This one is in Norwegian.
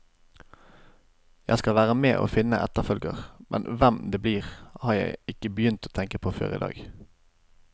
Jeg skal være med og finne etterfølger, men hvem det blir, har jeg ikke begynt å tenke på før i dag.